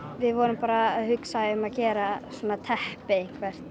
við vorum bara að hugsa um að gera teppi